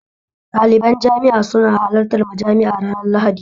Daliban jami'a suna halartar majami'a ranar lahadi